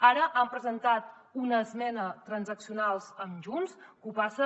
ara han presentat una esmena transaccional amb junts que ho passa